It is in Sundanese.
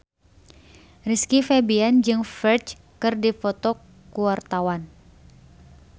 Rizky Febian jeung Ferdge keur dipoto ku wartawan